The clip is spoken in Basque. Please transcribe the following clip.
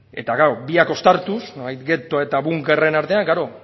eta gaur biak uztartuz nolabait getoa eta bai bunkerren artean klaro